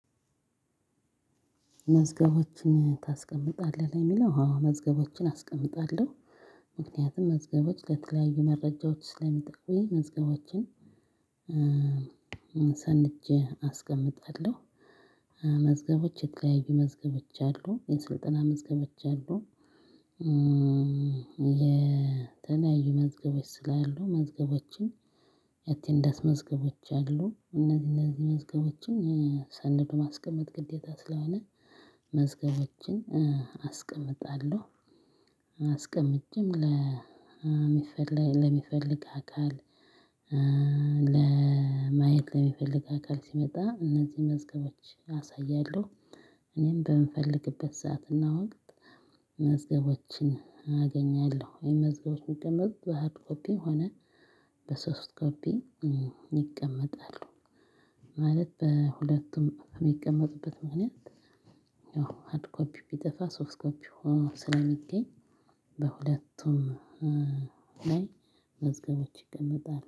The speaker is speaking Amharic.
መዝገቦችን ታስቀምጣለህ? ነው የሚለው አዎ መዝገቦችን አስቀምጣለሁ። ምክንያቱም መዝገቦች ለተለያዩ መረጃዎች ስለሚጠቁኝ መዝገቦችን ሰንጄ አስቀምጣለሁ። መዝገቦች የተለያዩ መዝገቦች አ፤ የስልጠና መዝገቦች አሉ፤ የተለያዩ መዝገቦች ስላሉ መዝገቦችን የአቴንዳስ መዝገቦች አሉ። እነዚህ እነዚህ መዝገቦችን ሰንዶ ማስቀመጥ ግዴታ ስለሆነ መዝገቦችን አስቀምጣለሁ። አስቀምጬም ለሚፈልግ ለሚፈልግ አካል፤ ለማየት ለሚፈልግ አካል ሲመጣ እነዚህ መዝገቦች አሳያለሁ። እኔም በምፈልግበት ሰዓት እና ወቅት መዝገቦችን አገኛለሁ። የመዝገቦች የምቀመጥ ባሃርድ ኮፒ ሆነ በሶፍት ኮፒ ይቀመጣሉ። ማለት በሁለቱም የሚቀመጥበት ምክንያት ኮፒ ቢጠፋ ሶፍት ኮፒ ሆኖ ስለሚገኝ በሁለቱም ላይ መዝገቦች ይቀመጣል።